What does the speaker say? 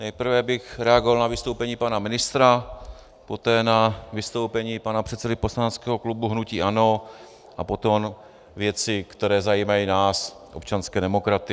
Nejprve bych reagoval na vystoupení pana ministra, poté na vystoupení pana předsedy poslaneckého klubu hnutí ANO a potom věci, které zajímají nás občanské demokraty.